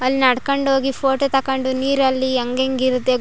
ಅಲ್ಲಿ ನಡ್ಕೊಂಡು ಹೋಗಿ ಫೋಟೋ ತಕೊಂಡು ನೀರಲ್ಲಿ ಹೆಂಗೆಂಗ್ ಇರುತ್ತೆ.